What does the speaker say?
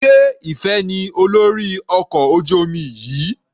Sé Ìfẹ ní olórí ọkọ̀ ojú omi yìí?